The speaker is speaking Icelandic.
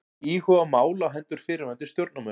Íhuga mál á hendur fyrrverandi stjórnarmönnum